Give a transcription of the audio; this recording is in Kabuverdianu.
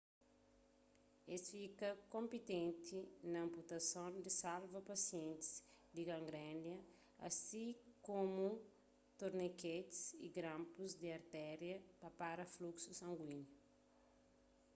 es fika konpitenti na anputason pa salva pasientis di gangrena asi tanbê komu torniketis y granpus di arteria pa pará fluxu sanguíniu